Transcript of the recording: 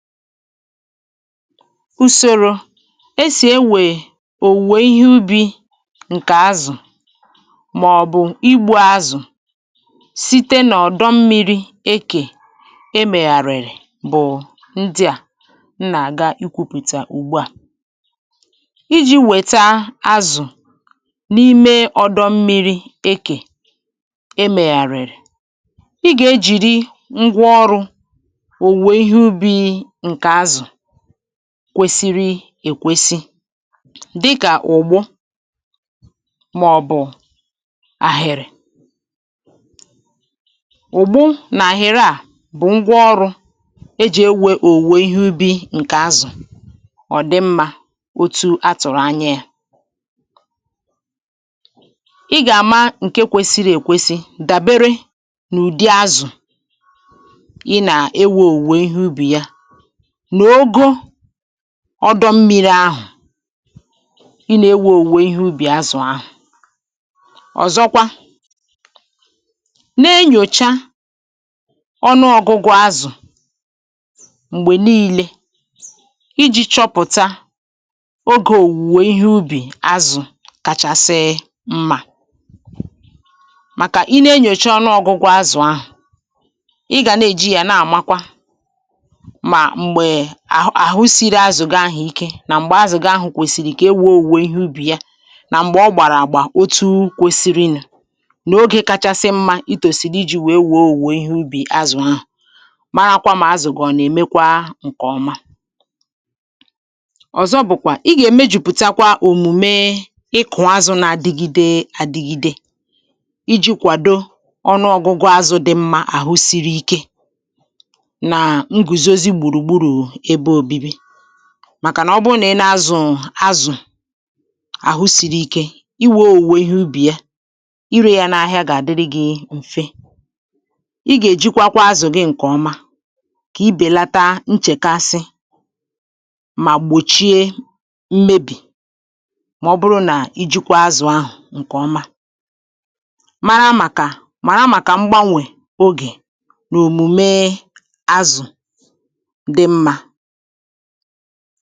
ùsòrò esì ewè òwùwè ihe ubì ǹkè azụ̀ màọ̀bụ̀ igbù azụ̀ site nà ọ̀dọ mmi̇ri̇ ekè e mèghàrìrì bụ̀ ndị à m nà-àga ikwùpùtà ùgbu à iji̇ wèta azụ̀ n’ime ọ̀dọ mmi̇ri̇ ekè e mèghàrìrì ị gà-ejìri ngwa ọrụ̇ kwesiri èkwesi dịkà ụ̀gbo màọ̀bụ̀ ahịrị̇ ụ̀gbụ nà-àhịrị à bụ̀ ngwa ọrụ̇ ejì ewė òwùwe ihe ubì ǹkè azụ̀ ọ̀ dị mmȧ otu atụ̀rụ̀ anya ya ị gà-àma ǹke kwesiri èkwesi dàbere n’ụ̀dị azụ̀ ọdọ mmiri ahụ̀ i na-ewe òwùwò ihe ubì azụ̀ ahụ̀ ọzọkwa na-enyòcha ọnụ ọgụgụ azụ̀ m̀gbè niile iji̇ chọpụ̀ta ogè òwùwò ihe ubì azụ̀ kachasịị mmà màkà i na-enyocha ọnụ ọgụgụ azụ̀ ahụ̀ ị gà na-eji yȧ na-àmakwa à àhụsiri azụ̀ gị ahụ̀ ike nà m̀gbè azụ̀ gị ahụ̀ kwèsìrì kà e wuo òwùo ihe ubì ya nà m̀gbè ọ gbàrà àgbà otu̇ kwesiri nù n’ogè kachasị mmȧ itòsiri iji̇ wèe wùo òwùwùwò ihe ubì azụ̀ ha mara akwȧ mà azụ̀ gọ̀ọ nà-èmekwa ǹkè ọma ọ̀zọ bụ̀kwà i gà-ème jùpùtakwa òmùme ịkụ̀ azụ̀ na-adịgide adịgide iji̇ kwàdo ọnụọ̇gụ̇gụ̇ azụ̇ dị mmȧ àhụsiri ike màkànà ọ bụrụ nà ị nȧ-azụ̀ azụ̀ àhụ siri ike iwė ȯwė ihe ubì ya ịrị̇ yȧ n’ahịa gà-àdịrị gị̇ m̀fe ị gà-èjikwa kwa azụ̀ gị ǹkèọma kà ibèlata nchèkaasị mà gbòchie mmebì màọbụrụ nà ijikwa azụ̀ ahụ̀ ǹkèọma mara màkà màrà màkà mgbanwè ogè n’òmùme ha